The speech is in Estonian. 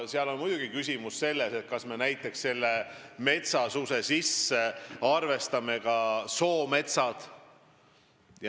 Muidugi on siin küsimus ka selles, kas me arvestame metsasuse sisse näiteks soometsad.